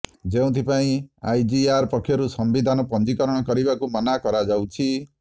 ଯେଉଁଥିପାଇଁ ଆଇଜିଆର୍ ପକ୍ଷରୁ ସମ୍ବିଧାନ ପଞ୍ଜୀକରଣ କରିବାକୁ ମନା କରାଯାଉଛି